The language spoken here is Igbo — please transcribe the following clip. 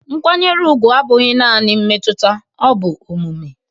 Nkwanyere ugwu abụghị naanị mmetụta bụ omume